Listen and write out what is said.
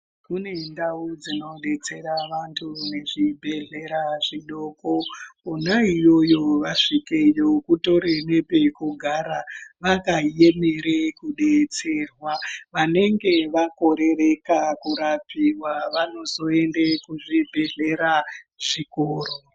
Kune ndau dzinodetsera vantu nezvibhehlera zvidoko. Kona iyoyo vasvikeyo kutori nepekugara vakaemere kudetserwa. Vanenge vakorereka kurapiwa vanozoende kuzvibhedhlera zvikuru.